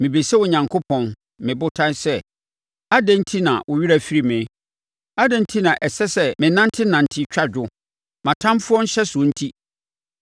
Mebisa Onyankopɔn me Botan sɛ, “Adɛn enti na wo werɛ afiri me? Adɛn enti na ɛsɛ sɛ menantenante twa adwo, mʼatamfoɔ nhyɛsoɔ nti?”